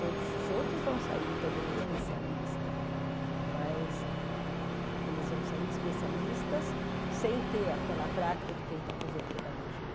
Todos os outros vão sair também especialistas, mas eles vão sair especialistas sem ter aquela prática de quem está fazendo pedagogia.